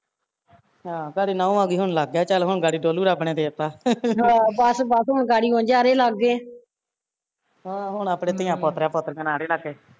ਆਹੋ ਘਰੇ ਨੂਹ ਆਗੀ ਹੁਣ ਲੱਗ ਗਿਆ ਚੱਲ ਗਾੜੀ ਡੋਲੂ ਰੱਬ ਤੇ ਦੇਤਾ ਆਹੋ ਹੁਣ ਆਪਣੇ ਧੀਆ ਪੋਤਰੇ ਪੋਤ੍ਰੀਆ ਨਾਲ਼ ਰਹਿਣਾ